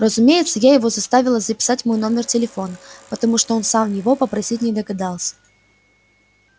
разумеется я его заставила записать мой номер телефона потому что он сам его попросить не догадался